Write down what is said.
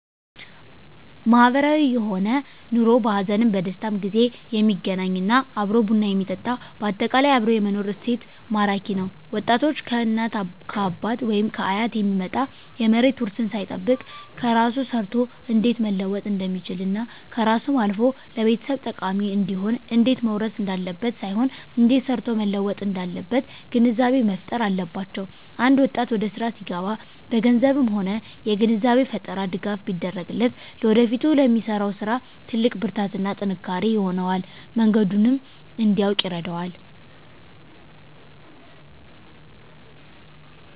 ማህበራዊ የሆነ ኑሮ በሀዘንም በደስታም ጊዜ የሚገናኝ እና አብሮ ቡና የሚጠጣ በአጠቃላይ አብሮ የመኖር እሴት ማራኪ ነዉ ወጣቶች ከእናት ከአባት ወይም ከአያት የሚመጣ የመሬት ዉርስን ሳይጠብቅ በራሱ ሰርቶ እንዴት መለወጥ እንደሚችልና ከራሱም አልፎ ለቤተሰብ ጠቃሚ እንዲሆን እንዴት መዉረስ እንዳለበት ሳይሆን እንዴት ሰርቶ መለወጥ እንዳለበት ግንዛቤ መፋጠር አለባቸዉ አንድ ወጣት ወደስራ ሲገባ በገንዘብም ሆነ የግንዛቤ ፈጠራ ድጋፍ ቢደረግለት ለወደፊቱ ለሚሰራዉ ስራ ትልቅ ብርታትና ጥንካሬ ይሆነዋል መንገዱንም እንዲያዉቅ ይረዳዋል